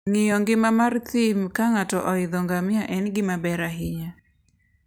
Ng'iyo ngima mar thim ka ng'ato oidho ngamia en gima ber ahinya.